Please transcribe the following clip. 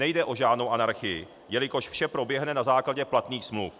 Nejde o žádnou anarchii, jelikož vše proběhne na základě platných smluv.